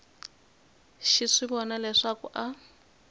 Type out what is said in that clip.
xi swi vona leswaku a